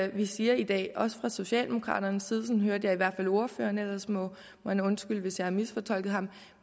det vi siger i dag også fra socialdemokraternes side sådan hørte jeg ordføreren ellers må han undskylde hvis jeg har misfortolket ham